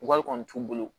Wari kɔni t'u bolo